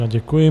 Já děkuji.